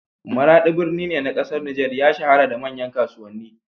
Maraɗi, birni ne na ƙasar Nijar, ya shahara da manyan kasuwanni.